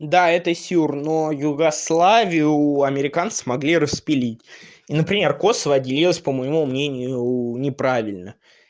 да это сюр но югославию американцы смогли распилить и например косово отделилось по моему мнению уу неправильно